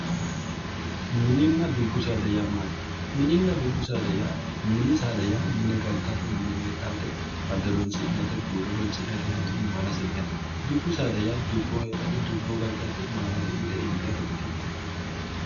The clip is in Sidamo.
Mininna dubbu saada yaa maati? Minnna dubbu saada yaa mini saada yaa mine galtaate mine heedhawoote ado horonsi'nayiite buuro horonsi'nayiite hattono maalase intayiite dubbu saada yaa dubboho heedhaate dubboho galtaate mite maalase intayiite mite maalaase intayiikkite yaate